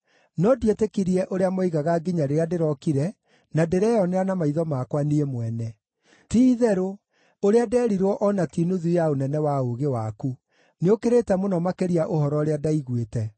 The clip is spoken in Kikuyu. No ndietĩkirie ũrĩa moigaga nginya rĩrĩa ndĩrokire na ndĩreyonera na maitho makwa niĩ mwene. Ti-itherũ, ũrĩa ndeerirwo o na ti nuthu ya ũnene wa ũũgĩ waku; nĩũkĩrĩte mũno makĩria ũhoro ũrĩa ndaiguĩte.